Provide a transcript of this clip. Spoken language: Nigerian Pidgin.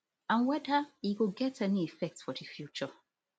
and whether e go get any effect for di future